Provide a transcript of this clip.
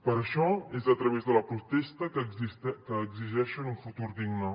per això és a través de la protesta que exigeixen un futur digne